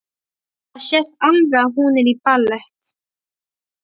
Það sést alveg að hún er í ballett.